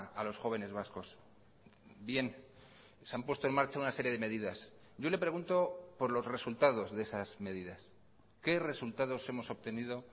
a los jóvenes vascos bien se han puesto en marcha una serie de medidas yo le pregunto por los resultados de esas medidas qué resultados hemos obtenido